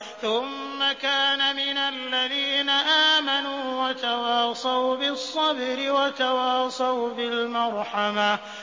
ثُمَّ كَانَ مِنَ الَّذِينَ آمَنُوا وَتَوَاصَوْا بِالصَّبْرِ وَتَوَاصَوْا بِالْمَرْحَمَةِ